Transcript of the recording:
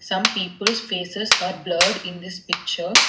Some peoples faces are blurred in this picture.